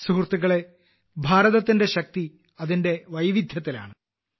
സുഹൃത്തുക്കളെ ഭാരതത്തിന്റെ ശക്തി അതിന്റെ വൈവിധ്യത്തിലാണ്